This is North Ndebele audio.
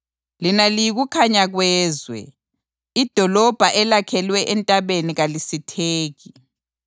Lina liyikukhanya kwezwe. Idolobho elakhelwe entabeni kalisitheki.